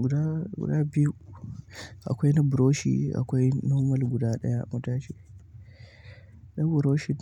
Guda guda biyu akwai na buroshi akwai normal guda ɗaya matajin na brushi